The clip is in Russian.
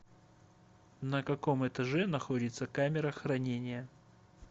на каком этаже находится камера хранения